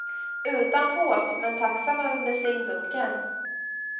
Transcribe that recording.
Utan båt, men tacksam över bensindunken.